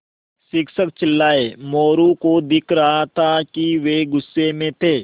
शिक्षक चिल्लाये मोरू को दिख रहा था कि वे गुस्से में थे